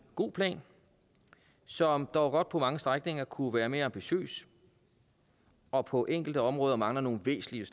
god plan som dog på mange strækninger kunne være mere ambitiøs og på enkelte områder mangler nogle væsentlige